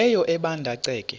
leyo ebanda ceke